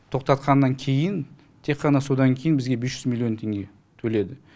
тоқтатқаннан кейін тек қана содан кейін бізге бес жүз миллион теңге төледі